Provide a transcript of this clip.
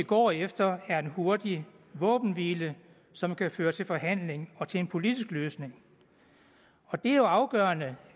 går efter er en hurtig våbenhvile som kan føre til forhandling og til en politisk løsning det er jo afgørende